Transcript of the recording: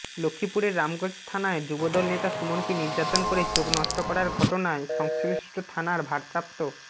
লক্ষ্মীপুরের রামগঞ্জ থানায় যুবদল নেতা সুমনকে নির্যাতন করে চোখ নষ্ট করার ঘটনায় সংশ্লিষ্ট থানার ভারপ্রাপ্ত